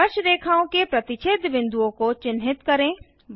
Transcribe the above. स्पर्शरेखाओं के प्रतिच्छेद बिंदुओं को चिन्हित करें